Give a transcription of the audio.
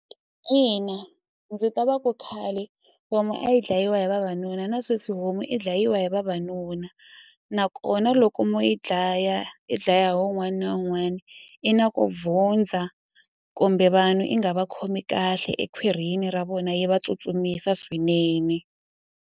Ina ndzi twa va ku khale homu a yi dlayiwa hi vavanuna na sweswi homu i dlayiwa hi vavanuna nakona loko mo yi dlaya i dlaya hi wun'wana na wun'wana i na ku kumbe vanhu i nga va khomi kahle ekhwirini ra vona yi va tsutsumisa swinene.